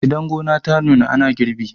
idan gona ta nuna ana girbi